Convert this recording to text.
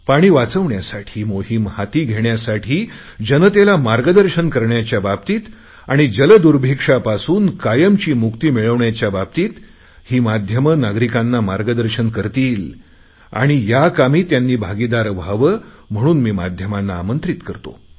पाणी वाचवण्यासाठी मोहिम हाती घेण्यासाठी जनतेला मार्गदर्शन करण्याच्या बाबतीत आणि जलदुर्भिक्षापासून कायमची मुक्ती मिळवण्याच्या बाबतीत ही माध्यमे नागरिकांना मार्गदर्शन करतील आणि त्यांनी याकामी भागिदार व्हावे म्हणून मी माध्यमांना आमंत्रित करतो